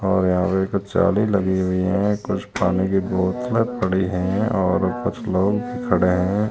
और यहां पे कुछ जाली लगी हुई है। कुछ पानी की बोतले पड़ी है और कुछ लोग भी खड़े हैं।